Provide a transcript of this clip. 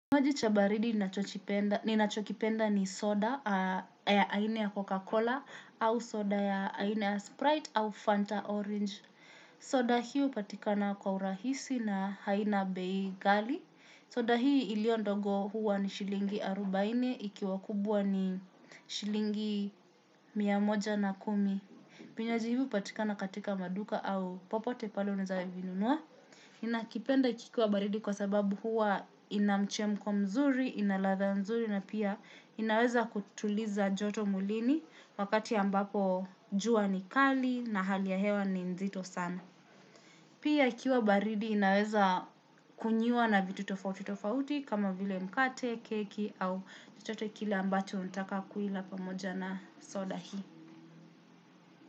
Maji cha baridi ninachokipenda ni soda ya aina ya Coca-Cola au soda ya aina ya Sprite au Fanta Orange. Soda hii upatikana kwa urahisi na haina Bei Ghali. Soda hii ilio ndogo huwa ni shilingi arubaine ikiwa kubwa ni shilingi mia moja na kumi. Vinywaji hii upatikana katika maduka au popote palo unaeza vinunua. Inakipenda kikiwa baridi kwa sababu huwa inamchemko mzuri, ina ladha nzuri na pia inaweza kutuliza joto mwilini wakati ambapo jua ni kali na hali ya hewa ni nzito sana. Pia ikiwa baridi inaweza kunyiwa na vitu tofauti tofauti kama vile mkate, keki au chochote kile ambacho unataka kuila pamoja na soda hii.